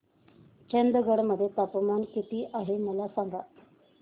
चंदगड मध्ये तापमान किती आहे मला सांगा